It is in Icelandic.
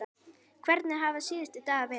Hvernig hafa síðustu dagar verið?